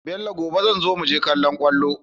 Bello gobe zanzo muje kallon kwallo